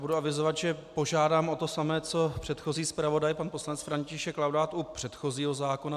Budu avizovat, že požádám o to samé co předchozí zpravodaj pan poslanec František Laudát u předchozího zákona.